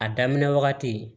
A daminɛ wagati